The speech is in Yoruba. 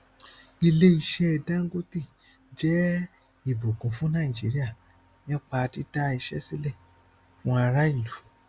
iléiṣẹ dangote jẹ ìbùkún fún nàìjíríà nípa dídá iṣẹ sílẹ fún ará ìlú